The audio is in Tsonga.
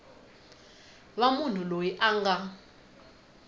va munhu loyi a nga